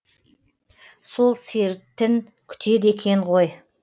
сол сертін күтеді екен ғой